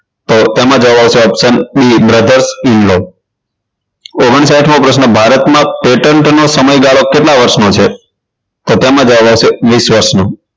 તો તેમાં જવાબ આવશે option b brothers in law ઓગણસાઠ મો પ્રશ્ન ભારતમાં petent નો સમયગાળો કેટલા વર્ષ નો છે તો તેમાં જવાબ આવશે વીસ વર્ષ નો